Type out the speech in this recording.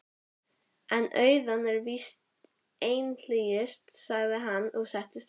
En auðnan er víst einhlítust, sagði hann og settist aftur.